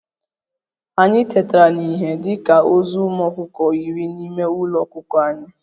Anyị tetara n'ihe dị ka ozu ụmụ ọkụkọ iri n'ime Ụlọ ọkụkọ anyị